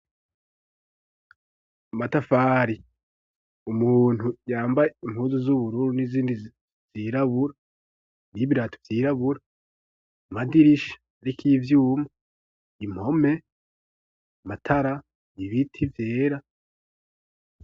Amatafari umuntu yamba impuzu zubururu n'izindi zirabura n'ibirato vyirabura madirisha ariko ivyuma impome matara yibiti vyera.